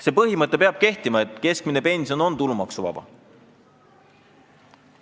See põhimõte, et keskmine pension on tulumaksuvaba, peab kehtima.